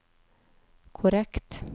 korrekt